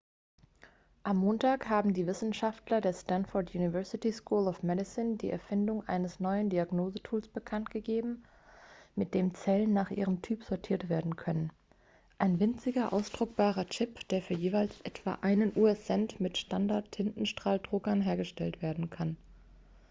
am montag haben die wisenschaftler der stanford university school of medicine die erfindung eines neuen diagnosetools bekanntgegeben mit dem zellen nach ihrem typ sortiert werden können ein winziger ausdruckbarer chip der für jeweils etwa einen us-cent mit standard-tintenstrahldruckern hergestellt werden kann